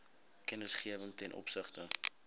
kennisgewing ten opsigte